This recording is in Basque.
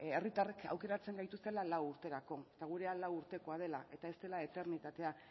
herritarrek aukeratzen gaituztela lau urterako eta gure lau urtekoa dela eta ez zela eternitatea